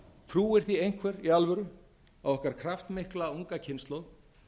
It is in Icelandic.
trúir því einhver í alvöru að okkar kraftmikla unga kynslóð